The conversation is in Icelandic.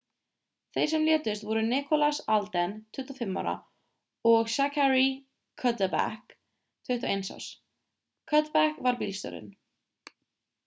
þeir sem létust voru nicholas alden 25 ára og zachary cuddeback 21 árs cuddeback var bílstjórinn